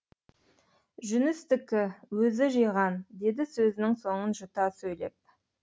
жүністікі өзі жиған деді сөзінің соңын жұта сөйлеп